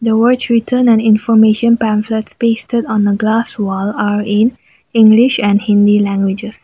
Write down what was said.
words return on information pasted on glass wall are in english and hindi languages.